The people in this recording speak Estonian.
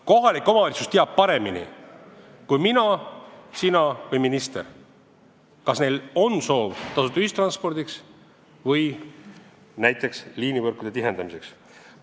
Kohalik omavalitsus teab paremini kui mina, sina või minister, kas neil on tasuta ühistranspordi või näiteks liinivõrkude tihendamise soov.